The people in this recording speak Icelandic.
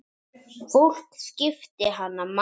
Fólk skipti hana máli.